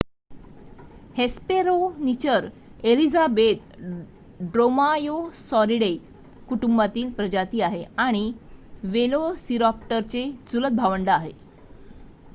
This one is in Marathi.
हेस्पेरोनिचर एलिझाबेथ ड्रोमायोसॉरिडे कुटुंबातील प्रजाती आहे आणि वेलोसिराप्टरचे चुलत भावंड आहे